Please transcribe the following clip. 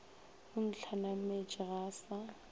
o ntlhanametše ga a sa